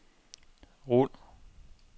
rul